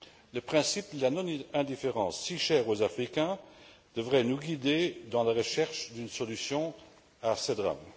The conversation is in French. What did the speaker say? Le principe de la non indifférence, si chère aux Africains, devrait nous guider dans la recherche d'une solution à ce drame.